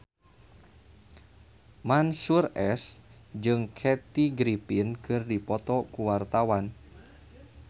Mansyur S jeung Kathy Griffin keur dipoto ku wartawan